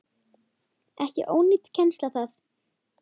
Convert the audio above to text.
Ekki ónýt kennsla það.